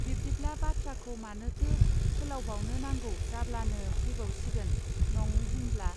बिब्दिब्ला बाथ्राखौ मानोथो फोलावबावनो नांगौ जाब्लानो फैबावसिगोन नङ होमब्ला.